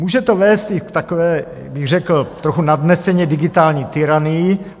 Může to vést i k takové, řekl bych trochu nadneseně, digitální tyranii.